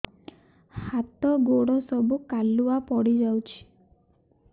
ହାତ ଗୋଡ ସବୁ କାଲୁଆ ପଡି ଯାଉଛି